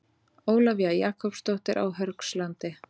Ólafía Jakobsdóttir á Hörgslandi